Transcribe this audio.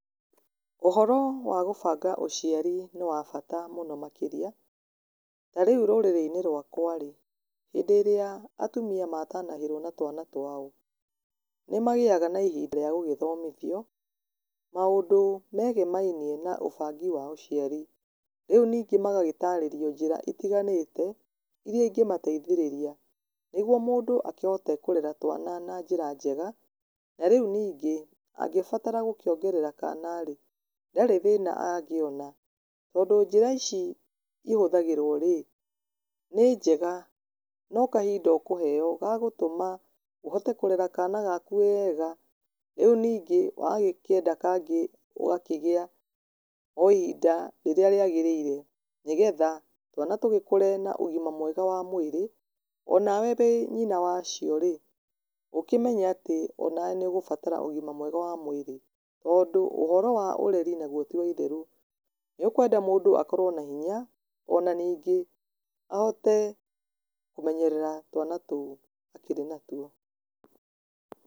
Ũhoro wa gũbanga ũciari nĩ wa bata mũno makĩria, tarĩu rũrĩrĩ-inĩ rwakwa rĩ, hĩndĩ ĩrĩa atumia matanahĩrwo na twana twao, nĩ magĩyaga na ihinda rĩa gũgĩgĩthomithio, maũndũ megemainie na ũbangi wa ũciari, rĩu ningĩ magagĩtarĩrio njĩra itiganĩte, iria ingĩmateithĩrĩria nĩguo mũndũ akĩhote kũrere twana na njĩra njega, na rĩu ningĩ, angĩbatara gũkĩongerera kana rĩ, ndarĩ thĩna angĩona, tondũ njĩra ici ihũthagĩrwo rĩ, nĩ njega, no kahinda ũkũheyo gagũtũma ũhote kũrera kana gaku weega, rĩu ningĩ wagĩkĩenda kangĩ ũgakĩgĩa o ihinda rĩrĩa rĩagĩrĩire, nĩ getha twana tũgĩkũre na ũgima mwega wa mwĩrĩ, onawe wĩ nyina wacio rĩ, ũkĩmenye atĩ onawe nĩ ũgũbatara ũgima mwega wa mwĩrĩ, tondũ ũhoro wa ũreri naguo tiwaitherũ, nĩ ũkwenda mũndũ akorwo na hinya, ona ningĩ ahote kũmenyerera twana tũu akĩrĩ natuo.